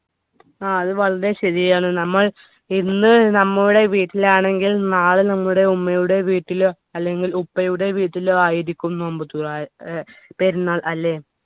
ആ അത് വളരെ ശെരിയാണ് നമ്മൾ ഇന്ന് നമ്മുടെ വീട്ടിലാണെങ്കിൽ നാളെ നമ്മുടെ ഉമ്മയുടെ വീട്ടിലോ അല്ലെങ്കിൽ ഉപ്പയുടെ വീട്ടിലായിരിക്കും നോമ്പ്തുറ ഏർ പെരുന്നാൾ അല്ലേ